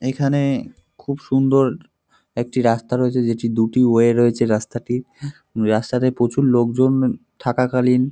এখানে খুব সুন্দর একটি রাস্তা রয়েছে যেটি দুটি ওয়ে রয়েছে রাস্তাটির। রাস্তাতে প্রচুর লোকজন থাকা কালীন--